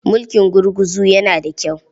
Mulkin gurguzu yana da kyau.